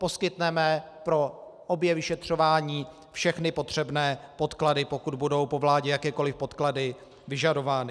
Poskytneme pro obě vyšetřování všechny potřebné podklady, pokud budou po vládě jakékoli podklady vyžadovány.